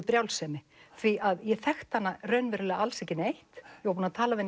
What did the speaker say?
brjálsemi því að ég þekkti hana raunverulega ekki neitt ég var búin að tala við